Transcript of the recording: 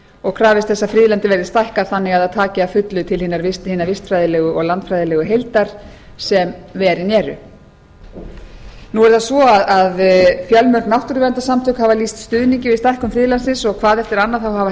og krafist þess að friðlandið verði stækkað þannig að það taki að fullu til hinnar vistfræðilegu og landfræðilegu heildar sem verin eru nú er það svo að fjölmörg náttúruverndarsamtök hafa lýst stuðningi við stækkun friðlandsins og hvað eftir annað hafa